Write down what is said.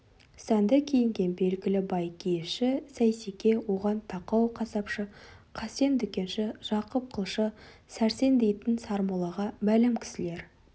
сәнді киінген белгілі бай киізші сейсеке оған тақау қасапшы қасен дүкенші жақып қылшы сәрсен дейтін сармоллаға мәлім кісілер